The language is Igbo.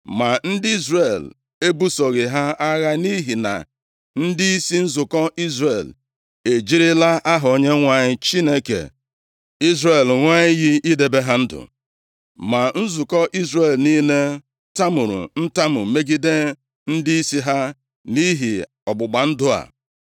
Ma ndị Izrel ebusoghị ha agha nʼihi na ndịisi nzukọ Izrel ejirila aha Onyenwe anyị, Chineke Izrel ṅụọ iyi idebe ha ndụ. Ma nzukọ Izrel niile tamuru ntamu megide ndịisi ha nʼihi ọgbụgba ndụ a.